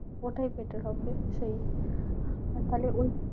ওটাই better হবে। সেই তাহলে